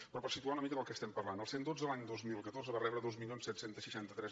però per situar una mica de què estem parlant el cent i dotze l’any dos mil catorze va rebre dos mil set cents i seixanta tres